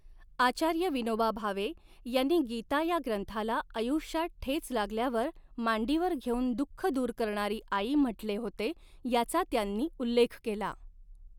आचार्य विनोबा भावे यांनी गीता या ग्रंथाला आयुष्यात ठेच लागल्यावर मांडीवर घेऊन दुखः दूर करणारी आई म्हटले होते याचा त्यांनी उल्लेख केला.